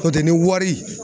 N'o tɛ ni wari